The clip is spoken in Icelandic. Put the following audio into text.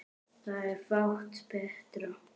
Það er fátt betra.